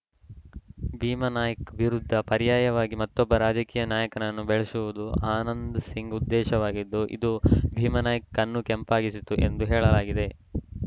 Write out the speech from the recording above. ಭೀಮಾನಾಯ್ಕ ವಿರುದ್ಧ ಪರ್ಯಾಯವಾಗಿ ಮತ್ತೊಬ್ಬ ರಾಜಕೀಯ ನಾಯಕನನ್ನು ಬೆಳೆಸುವುದು ಆನಂದ್‌ ಸಿಂಗ್‌ ಉದ್ದೇಶವಾಗಿದ್ದು ಇದು ಭೀಮಾನಾಯ್ಕ ಕಣ್ಣು ಕೆಂಪಗಾಗಿಸಿತ್ತು ಎಂದು ಹೇಳಲಾಗಿದೆ